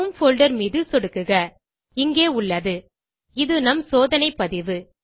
home folder மீது சொடுக்குக இங்கே உள்ளது இது நம் சோதனை பதிவு